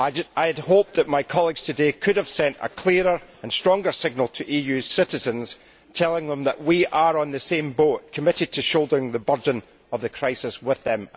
I had hoped that my colleagues could today have sent a clearer and stronger signal to EU citizens telling them that we are in the same boat and committed to shouldering the burden of the crisis with them.